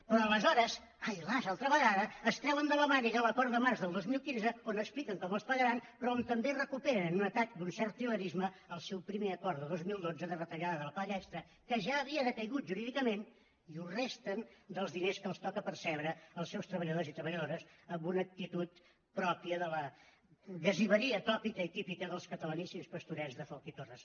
però aleshores ai las altra vegada es treuen de la màniga l’acord de març del dos mil quinze on expliquen com els pagaran però on també recuperen en un atac d’un cert trilerisme el seu primer acord de dos mil dotze de retallada de la paga extra que ja havia decaigut jurídicament i ho resten dels diners que els toca percebre als seus treballadors i treballadores amb una actitud pròpia de la gasiveria tòpica i típica dels catalaníssims pastorets de folch i torres